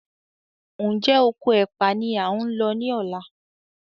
Njé Okò ẹpa ní a ń ló ní ọlá?